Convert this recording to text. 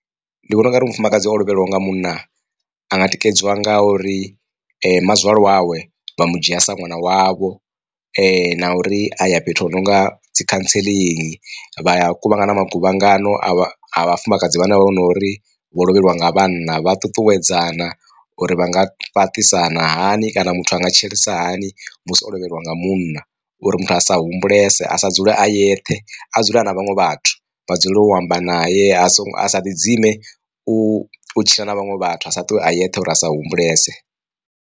Ndi vhona ungari mufumakadzi o lovhelwaho nga munna anga tikedziwa nga uri mazwale wawe vha mu dzhia sa ṅwana wavho na uri a ya fhethu hunonga dzi counselling, vha ya kuvhangana maguvhangano a vhafumakadzi vhane vho nori vho lovheliwa nga vhanna vha ṱuṱuwedzana uri vha nga fhaṱisana hani kana muthu anga tshilisa hani musi o lovheliwa nga munna, uri muthu a sa humbulese a sa dzule a yeṱhe, a dzule a na vhaṅwe vhathu vha dzulele u amba naye a so a sa ḓi dzime u tshila na vhaṅwe vhathu a sa ṱuwe a yeṱhe uri asa humbulese.